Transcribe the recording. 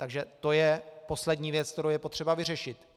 Takže to je poslední věc, kterou je potřeba vyřešit.